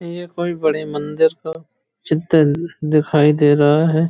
ये कोई बड़ी मंदिर का चित्र दिखाई दे रहा है।